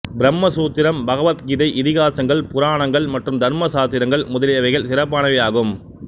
பிரம்ம சூத்திரம் பகவத் கீதை இதிகாசங்கள் புராணங்கள் மற்றும் தர்மசாத்திரங்கள் முதலியவைகள் சிறப்பானவை ஆகும்